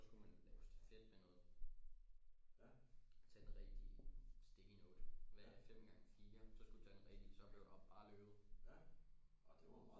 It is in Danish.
Så skulle man lave stafet med noget tage den rigtige sticky note hvad er fem gange fire så skulle du tage den rigtige så skulle du bare løbe